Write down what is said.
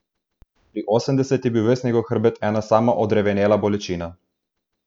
Pri osemdeset je bil ves njegov hrbet ena sama odrevenela bolečina.